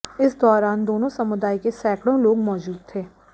इस दौरान दोनों समुदाय के सैकड़ों लोग मौजूद थे